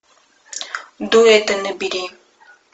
дуэты набери